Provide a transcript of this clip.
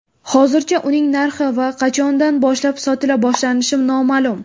Hozircha uning narxi va qachondan boshlab sotila boshlanishi noma’lum.